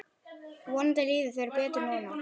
Vonandi líður þér betur núna.